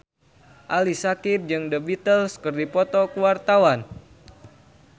Ali Syakieb jeung The Beatles keur dipoto ku wartawan